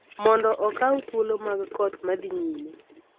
mondo okaw thuolo mag koth ma dhi nyime.